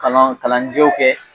Kalan kalanjɛw kɛ